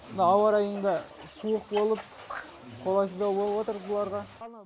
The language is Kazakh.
мына ауарайың да суық болып қолайсыздау болып отыр бұларға